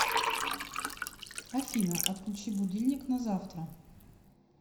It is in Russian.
афина отключи будильник на завтра